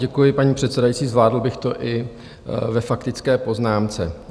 Děkuji, paní předsedající, zvládl bych to i ve faktické poznámce.